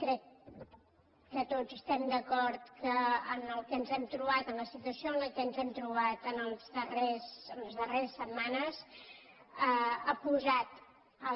crec que tots estem d’acord que el que ens hem trobat la situació en què ens hem trobat en les darreres setmanes ha posat el